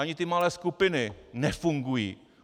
Ani ty malé skupiny nefungují.